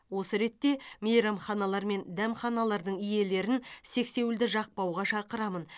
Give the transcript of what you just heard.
осы ретте мейрамханалар мен дәмханалардың иелерін сексеуілді жақпауға шақырамын